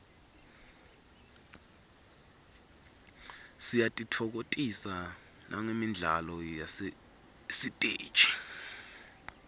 siyatitfokotisa nagemidlalo yasesiteji